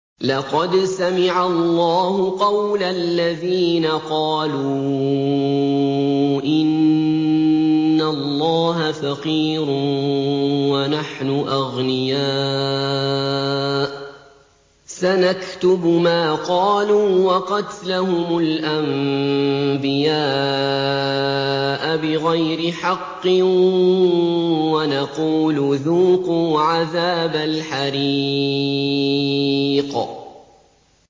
لَّقَدْ سَمِعَ اللَّهُ قَوْلَ الَّذِينَ قَالُوا إِنَّ اللَّهَ فَقِيرٌ وَنَحْنُ أَغْنِيَاءُ ۘ سَنَكْتُبُ مَا قَالُوا وَقَتْلَهُمُ الْأَنبِيَاءَ بِغَيْرِ حَقٍّ وَنَقُولُ ذُوقُوا عَذَابَ الْحَرِيقِ